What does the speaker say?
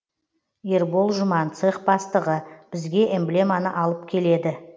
ербол жұман цех бастығы бізге эмблеманы алып келеді